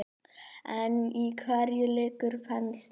En í hverju liggur þenslan?